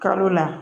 Kalo la